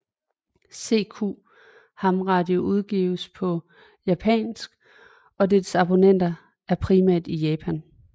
CQ ham radio udgives på japansk og dets abonnenter er primært i Japan